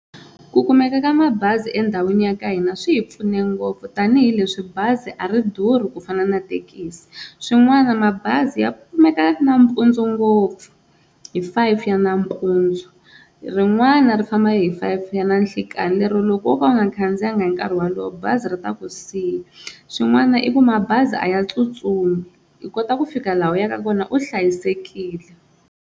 Ku kumeka ka mabazi endhawini ya ka hina swi hi pfune ngopfu tanihileswi bazi a ri durhi ku fana na thekisi, swin'wana mabazi ya kumeka nampundzu ngopfu hi five ya nampundzu rin'wana ri famba hi five ya nanhlekani lero loko wo ka u nga khandziyanga hi nkarhi wolowo bazi ri ta ku siya swin'wana i ku mabazi a ya tsutsumi i kota ku fika laha u yaka kona u hlayisekile.